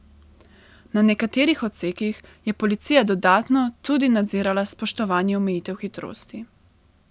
Na nekaterih odsekih je policija dodatno tudi nadzirala spoštovanje omejitev hitrosti.